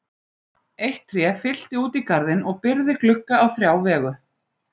Eitt tré fyllti út í garðinn og byrgði glugga á þrjá vegu.